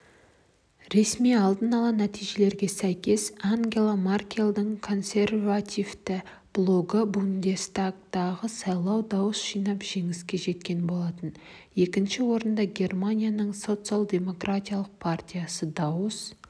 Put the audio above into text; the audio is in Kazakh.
ресми алдын-ала нәтижелерге сәйкес ангела маркельдің консервативті блогы бундестагтағы сайлауда дауыс жинап жеңіске жеткен болатын екінші орында германияның социал-демократиялық партиясы дауыс